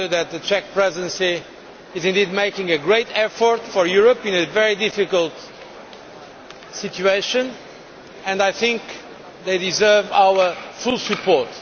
The Czech Presidency is making a great effort for Europe in a very difficult situation and I think they deserve our full support.